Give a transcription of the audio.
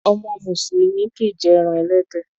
Ọmọ mùsùlùmí kìí jé eran ẹlẹ́dẹ̀.